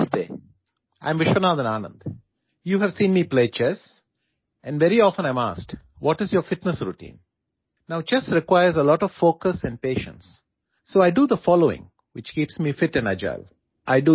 Namaste I am Viswanathan Anand you have seen me play chess and very often I am asked what is your fitness routine now chess requires a lot of focus and patience so I do the following which keeps me fit and agile